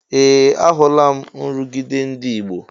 Ee! Ahụla m nrụgide ndị ọgbọ.